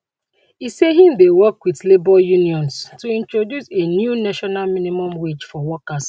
e say im dey work wit labour unions to introduce a new national minimum wage for workers